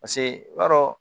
Paseke i b'a dɔn